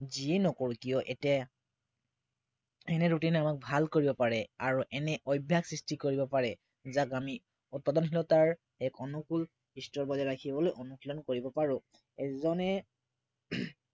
যিয়ে নকৰো কিয় এতিয়া ৰুটিনে আমাক ভাল কৰিব পাৰে আৰু এনে অভ্য়াস সৃষ্টি কৰিব পাৰে যাক আমি উৎপাদনশীলতাৰ এক অনুকূল স্তৰ বজাই ৰাখিবলৈ অনুশীলন কৰিব পাৰো এজনে